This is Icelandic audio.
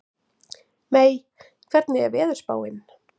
Mey, hvernig er veðurspáin?